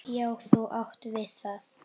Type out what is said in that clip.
Já, þú átt við það!